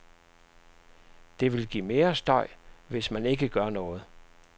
Det vil give mere støj, hvis men ikke gør noget.